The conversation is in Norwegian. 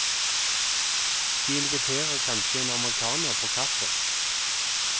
De inviterer kanskje en amerikaner på kaffe.